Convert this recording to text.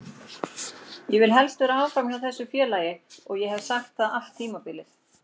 Ég vil vera áfram hjá þessu félagi og ég hef sagt það allt tímabilið.